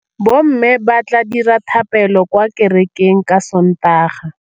Bommê ba tla dira dithapêlô kwa kerekeng ka Sontaga.